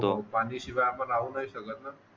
पाण्याशिवाय आपण राहू नाही शकत ना